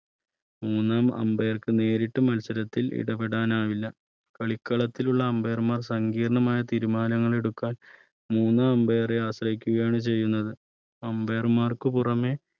മൂന്നാം Ambire ർക്ക് നേരിട്ട് മത്സരത്തിൽ ഇടപെടാൻ ആവില്ല കളിക്കളത്തിൽ ഉള്ള Ambire മാർ സംഗീർണമായ തീരുമാനങ്ങളെടുക്കാൻ മൂന്നാം Ambire രെ ആശ്രയിക്കുകയാണ് ചെയ്യുന്നത് Ambire മാർക്ക് പുറമേ